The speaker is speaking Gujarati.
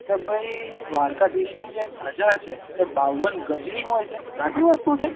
કે ભાઈ દ્વારકાધીશ ની જે ધજા હોય છે એ બાવન ગજ ની હોય છે